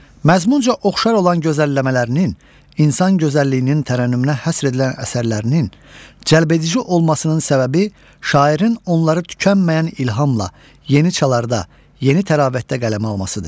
Məzmunca oxşar olan gözəlləmələrinin, insan gözəlliyinin tərənnümünə həsr edilən əsərlərinin cəlbedici olmasının səbəbi şairin onları tükənməyən ilhamla, yeni çalarda, yeni təravətdə qələmə almasıdır.